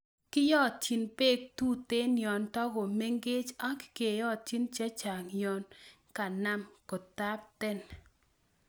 Kiyotyin beek tuten yon togo mengech ak keyotyi chechang' yon kanam kotapten.